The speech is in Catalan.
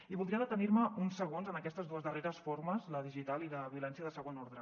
i voldria detenir me uns segons en aquestes dues darreres formes la digital i la violència de segon ordre